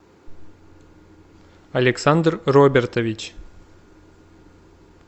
александр робертович